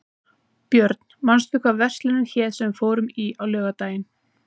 Björn, manstu hvað verslunin hét sem við fórum í á laugardaginn?